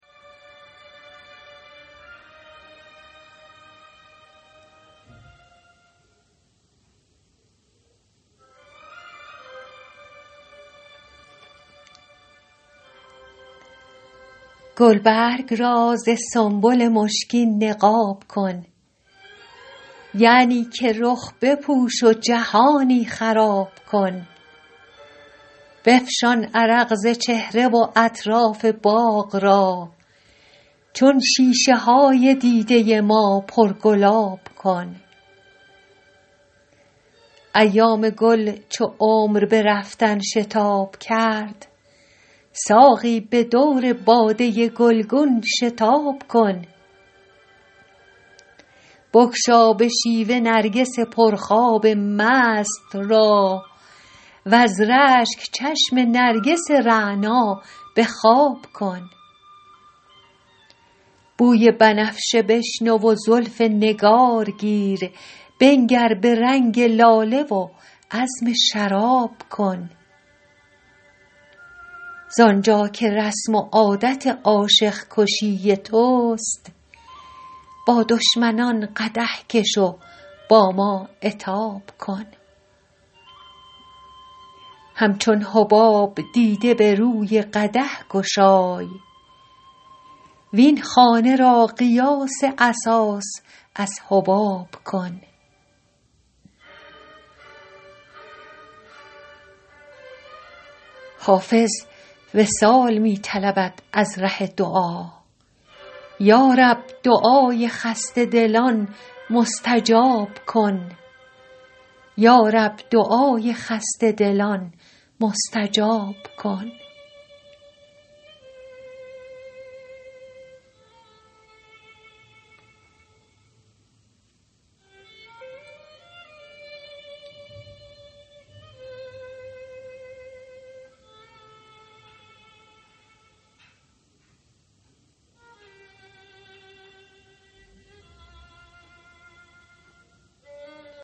گلبرگ را ز سنبل مشکین نقاب کن یعنی که رخ بپوش و جهانی خراب کن بفشان عرق ز چهره و اطراف باغ را چون شیشه های دیده ما پرگلاب کن ایام گل چو عمر به رفتن شتاب کرد ساقی به دور باده گلگون شتاب کن بگشا به شیوه نرگس پرخواب مست را وز رشک چشم نرگس رعنا به خواب کن بوی بنفشه بشنو و زلف نگار گیر بنگر به رنگ لاله و عزم شراب کن زآن جا که رسم و عادت عاشق کشی توست با دشمنان قدح کش و با ما عتاب کن همچون حباب دیده به روی قدح گشای وین خانه را قیاس اساس از حباب کن حافظ وصال می طلبد از ره دعا یا رب دعای خسته دلان مستجاب کن